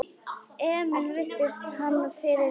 Emil virti hann fyrir sér.